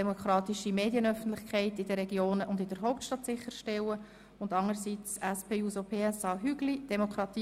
Ich begrüsse hierzu ganz herzlich den Staatschreiber, Herrn Christoph Auer.